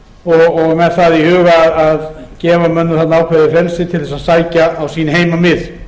og með það í huga að gefa mönnum þarna ákveðið frelsi til að sækja á sín heimamið